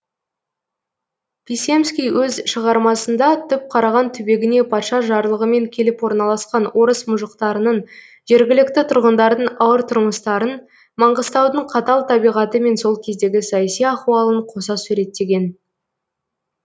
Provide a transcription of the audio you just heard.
писемский өз шығармасында түпқараған түбегіне патша жарлығымен келіп орналасқан орыс мұжықтарының жергілікті тұрғындардың ауыр тұрмыстарын маңғыстаудың қатал табиғаты мен сол кездегі саяси ахуалын қоса суреттеген